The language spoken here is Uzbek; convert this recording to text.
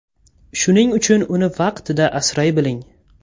Shuning uchun uni vaqtida asray biling!